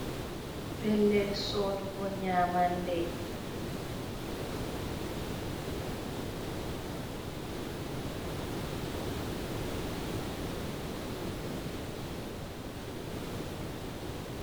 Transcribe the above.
Pellel sodugo nyamande.